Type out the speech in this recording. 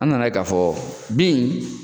An nana ye k'a fɔ bin